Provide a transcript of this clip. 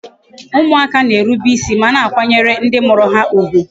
Ụmụaka na-erube isi ma na akwanyere ndị mụrụ ha ugwu